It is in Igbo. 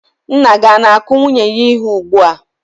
Nna gị o na-akụ nwunye ya ihe ugbu a?